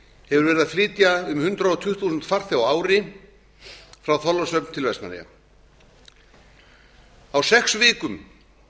hefur verið að flytja um hundrað tuttugu þúsund farþega á ári frá þorlákshöfn til vestmannaeyja á sex vikum